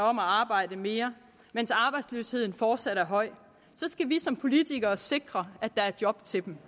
om at arbejde mere mens arbejdsløsheden fortsat er høj skal vi som politikere sikre at der er job til dem